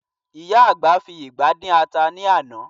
Ìyá àgbà fi ìgbá dín ata ní àná